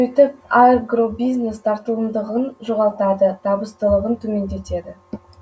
сөйтіп агробизнес тартымдылығын жоғалтады табыстылығын төмендетеді